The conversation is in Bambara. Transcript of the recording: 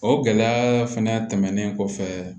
O gɛlɛya fɛnɛ tɛmɛnen kɔfɛ